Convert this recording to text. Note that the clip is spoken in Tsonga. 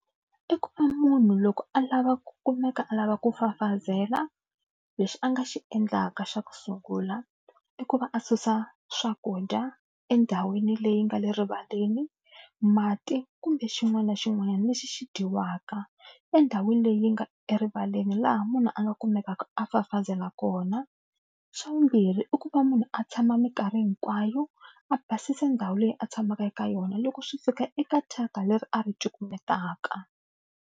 I ku va munhu loko a lava ku kumeka a lava ku fafazela lexi a nga xi endlaka xa ku sungula i ku va a susa swakudya endhawini leyi nga le rivaleni, mati kumbe xin'wana na xin'wanyana lexi xi dyiwaka endhawini leyi nga erivaleni laha munhu a nga kumekaka a fafazela kona. Xa vumbirhi i ku va munhu a tshama mikarhi hinkwayo a basisa ndhawu leyi a tshamaka eka yona loko swi fika eka thyaka leri a ri cukumetaka.